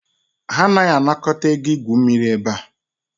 Ha anaghị anakọta ego igwu mmiri ebe a